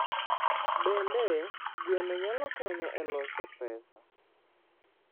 Bende, gweno nyalo konyo e loso pesa.